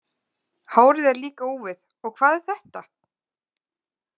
Hárið er líka úfið og hvað er þetta?